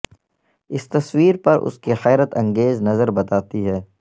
اس تصویر پر اس کی حیرت انگیز نظر بتاتی ہے